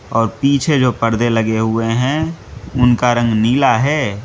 और पीछे जो पर्दे लगे हुए हैं उनका रंग नीला है।